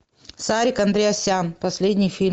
сарик андреасян последний фильм